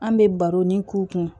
An bɛ baro ni k'u kun